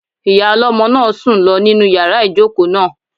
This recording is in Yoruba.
Ìyá ọlọ́mọ náà sùn lọ nínu yàrá ìjòkó náà